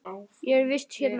Ég er í vist hérna.